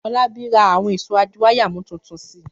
Fọlábí ra àwọn ìṣó adiwáyàmú tuntun si.